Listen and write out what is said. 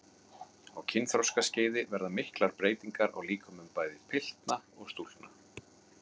Á kynþroskaskeiði verða miklar breytingar á líkömum bæði pilta og stúlkna.